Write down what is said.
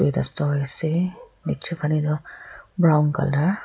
duida storey ase ekjun phale toh brown colour .